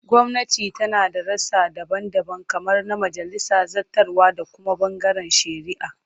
Gwamnati tana da rassa daban-daban kamar na majalisa, zartarwa, da kuma bangaren shari'a.